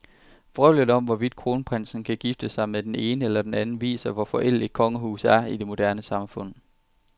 Vrøvlet om, hvorvidt kronprinsen kan gifte sig med den ene eller den anden, viser, hvor forældet et kongehus er i et moderne samfund.